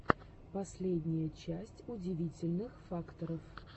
последняя часть удивительных фактов